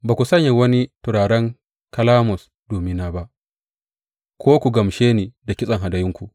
Ba ku saya wani turaren kalamus domina ba ko ku gamshe ni da kitsen hadayunku.